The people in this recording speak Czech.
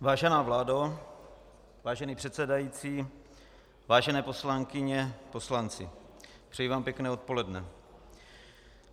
Vážená vládo, vážený předsedající, vážené poslankyně, poslanci, přeji vám pěkné odpoledne.